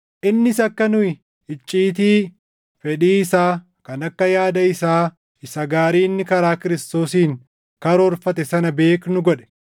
Innis akka nu icciitii fedhii isaa kan akka yaada isaa isa gaarii inni karaa Kiristoosiin karoorfate sana beeknu godhe;